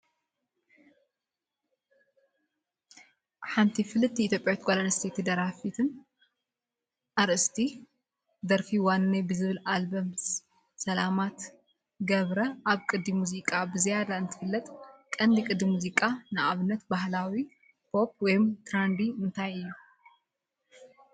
ሓንቲ ፍልጥት ኢትዮጵያዊት ጓል ኣንስተይቲ ደራፊትን ኣርእስቲ ደርፋ ዋንነይ ብዝብል ኣልበማ ሰላማት ገብረ ኣብ ቅዲ ሙዚቃኣ ብዝያዳ እትፍለጥ ቀንዲ ቅዲ ሙዚቃ (ንኣብነት ባህላዊ፡ ፖፕ፡ ወይ ትራንዲ) እንታይ እዩ?